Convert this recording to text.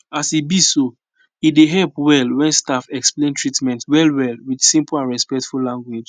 as e be so e dey help well when staff explain treatment well well with simple and respectful language